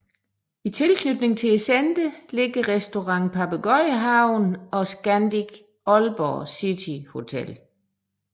I tilknytning til centret ligger Restaurant Papegøjehaven og Scandic Aalborg City Hotel